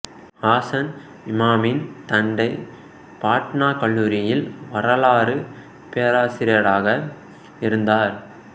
ஹசன் இமாமின் தந்தை பாட்னா கல்லூரியில் வரலாறு பேராசிரியராக இருந்தார்